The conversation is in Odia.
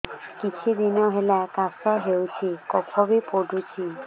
କିଛି ଦିନହେଲା କାଶ ହେଉଛି କଫ ବି ପଡୁଛି